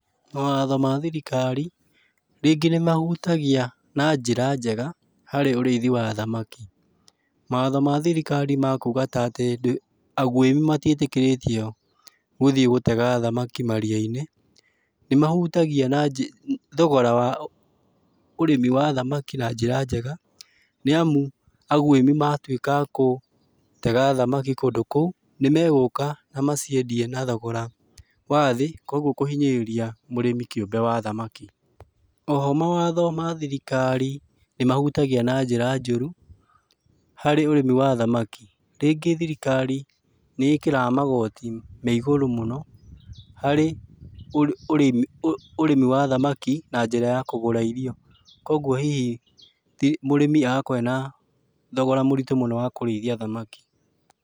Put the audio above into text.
Mawatho ma thirikari, rĩngĩ nĩmahutagia na njĩra njega, harĩ ũrĩithi wa thamaki. Mawatho ma thirikari ma kuga ta atĩ agwĩmi matiĩtĩkĩrĩtio gũthiĩ gũtega thamaki maria-inĩ, nĩmahutagia na njĩ thogora wa ũrĩmi wa thamaki na njĩra njega, nĩamu agwĩmi matuĩka agũtega thamaki kũndũ kũu, nĩmegũka na maciendie na thogora wa thĩ, kuoguo kũhinyĩrĩria mũrĩmi kĩũmbe wa thamaki. Oho mawatho ma thirikari nĩmahutagia na njĩra njũru, harĩ ũrĩmi wa thamaki. Rĩngĩ thirikari nĩĩkĩraga magoti me igũrũ mũno, harĩ ũrĩmi wa thamaki na njĩra ya kũgũra irio. Kuoguo hihi mũrĩmi agakorwo ena thogora mũritũ mũno wa kũrĩithia thamaki.